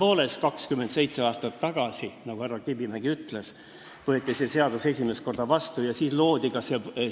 Tõepoolest, 27 aastat tagasi, nagu härra Kivimägi ütles, võeti see seadus vastu ja siis loodi ka see fond.